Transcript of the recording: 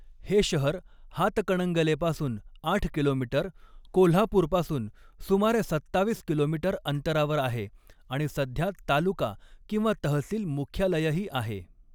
हे शहर हातकणंगलेपासून आठ किलोमीटर, कोल्हापूरपासून सुमारे सत्तावीस किलोमीटर अंतरावर आहे आणि सध्या तालुका किंवा तहसील मुख्यालयही आहे.